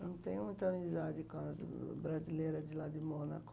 Eu não tenho muita amizade com as brasileira de lá de Mônaco.